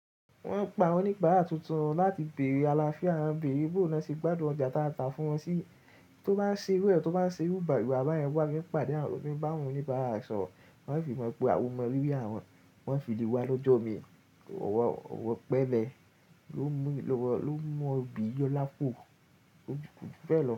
Wọ́n ń pa oníbàárà tuntun láti bèrè àlàáfíà, wọ́n ń bèrè bó na ṣe gbádùn ọjà ta ta fún wọn sí, tó bá ń ṣe iru e, tó bá ń ṣe eru wa bayen, wá bá yẹn wá, bí ìpàdé àwọn onibara re soro, wọ́n fi mọ̀ọ́ pe o mọ rírí, àwọn wọ́n fi lé wa lọ́jọ́ omi. Ọ̀wọ̀ pẹlẹ lo mú ọ bi yo láp. Ó kùjú kojubelo.